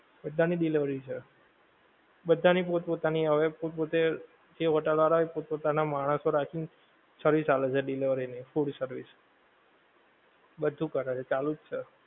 બધાં ની delivery છે, બધાં ની પોત પોતાની હવે પોત પોતે જે hotel વાળા એ પોત પોતાના માણસો રાખી ને, સર્વિસ આલે છે delivery ની food service બધું કરે છે ચાલુજ છે